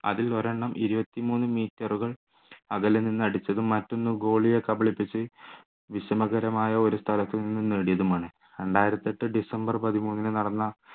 അതിൽ ഒരെണ്ണം ഇരുപത്തിമൂന്ന് metre കൾ അകലെ നിന്ന് അടിച്ചതും മറ്റൊന്നും goalie യെ കബളിപ്പിച്ചു വിഷമകരമായ ഒരു സ്ഥലത്തുനിന്ന് നേടിയതുമാണ് രണ്ടായിരത്തിയെട്ടു ഡിസംബർ പതിമൂന്നിന് നടന്ന